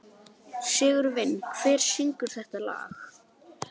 Sigurvin, hver syngur þetta lag?